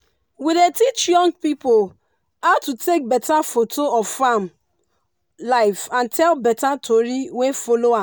we dey teach young pipu how to take beta photo of farm life and tell better tori wey follow am.